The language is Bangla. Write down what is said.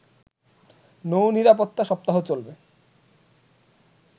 নৌ নিরাপত্তা সপ্তাহ চলবে